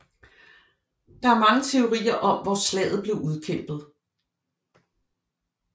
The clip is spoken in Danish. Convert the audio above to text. Der er mange teorier om hvor slaget blev udkæmpet